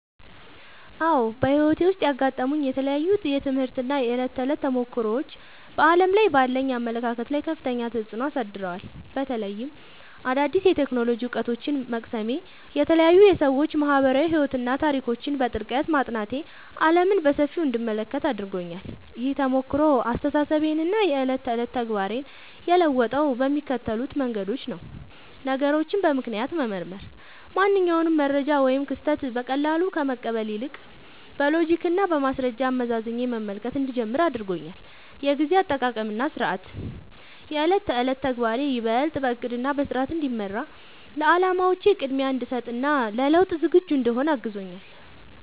አዎ፣ በሕይወቴ ውስጥ ያጋጠሙኝ የተለያዩ የትምህርት እና የዕለት ተዕለት ተሞክሮዎች በዓለም ላይ ባለኝ አመለካከት ላይ ከፍተኛ ተጽዕኖ አሳድረዋል። በተለይም አዳዲስ የቴክኖሎጂ እውቀቶችን መቅሰሜ፣ የተለያዩ የሰዎች ማኅበራዊ ሕይወትና ታሪኮችን በጥልቀት ማጥናቴ ዓለምን በሰፊው እንድመለከት አድርጎኛል። ይህ ተሞክሮ አስተሳሰቤንና የዕለት ተዕለት ተግባሬን የለወጠው በሚከተሉት መንገዶች ነው፦ ነገሮችን በምክንያት መመርመር፦ ማንኛውንም መረጃ ወይም ክስተት በቀላሉ ከመቀበል ይልቅ፣ በሎጂክና በማስረጃ አመዛዝኜ መመልከት እንድጀምር አድርጎኛል። የጊዜ አጠቃቀምና ሥርዓት፦ የዕለት ተዕለት ተግባሬ ይበልጥ በዕቅድና በሥርዓት እንዲመራ፣ ለዓላማዎቼ ቅድሚያ እንድሰጥ እና ለለውጥ ዝግጁ እንድሆን አግዞኛል።